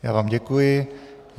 Já vám děkuji.